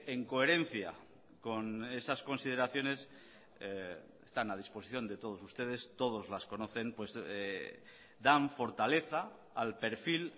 en coherencia con esas consideraciones están a disposición de todos ustedes todos las conocen dan fortaleza al perfil